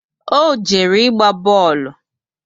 O jere ịgba boolu